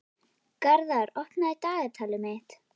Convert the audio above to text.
Garðar, opnaðu dagatalið mitt.